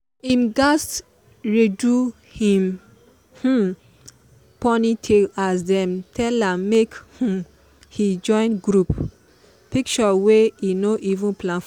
him gatz redo him um ponytail as dem tell am make um he join group picture wey he no even plan for.